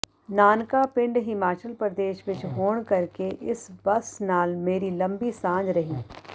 ਨਾਨਕਾ ਪਿੰਡ ਹਿਮਾਚਲ ਪ੍ਰਦੇਸ਼ ਵਿੱਚ ਹੋਣ ਕਰਕੇ ਇਸ ਬੱਸ ਨਾਲ ਮੇਰੀ ਲੰਬੀ ਸਾਂਝ ਰਹੀ